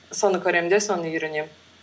соны көремін де соны үйренемін